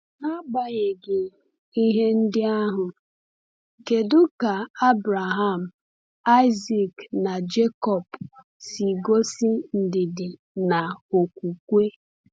N’agbanyeghị ihe ndị ahụ, kedu ka Abraham, Isaac, na Jekọb si gosi ndidi na okwukwe?